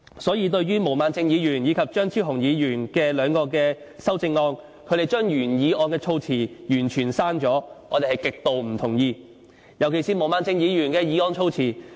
所以，對於毛孟靜議員和張超雄議員兩位的修正案，他們將原議案的措辭完全刪去，我們是極之不同意的——尤其是毛孟靜議員的修正案的措施。